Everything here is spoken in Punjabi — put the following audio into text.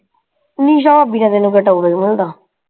ਨਿਸ਼ਾ ਭਾਬੀ ਨੇ ਤੈਨੂੰ ਕਿਹੜਾ topic ਮਿਲਦਾ?